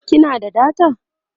kina da data?